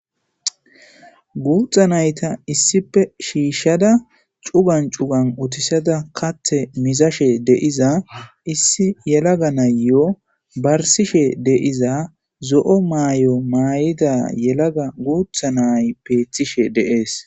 Gutta nayththa issippe shishada cuggan cuggan uttisada kaththe mizashe de'za issi yelaga nayiyyo barsishe de'zza zoo' mayyo mayida yelaga gutta nayyi bethishe dee'ss.